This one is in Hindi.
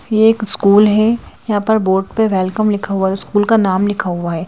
यह एक स्कूल है यहां पर बोर्ड पे वैलकम लिखा हुआ है स्कूल का नाम लिखा हुआ है।